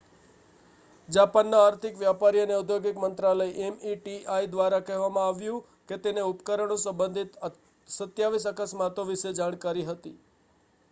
જાપાનના આર્થિક વ્યાપારી અને ઔદ્યોગિક મંત્રાલય meti દ્વારા કહેવામાં આવ્યું કે તેને ઉપકરણો સંબંધિત 27 અકસ્માતો વિશે જાણકારી હતી